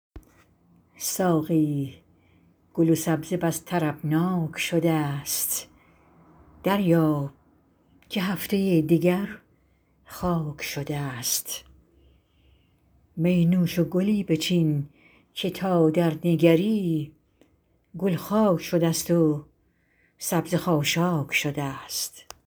ساقی گل و سبزه بس طربناک شده ست دریاب که هفته دگر خاک شده ست می نوش و گلی بچین که تا درنگری گل خاک شده ست و سبزه خاشاک شده ست